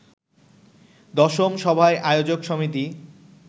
১০ম সভায় আয়োজক সমিতি